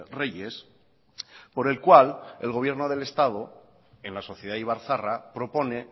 reyes por el cual el gobierno del estado en la sociedad ibarzaharra propone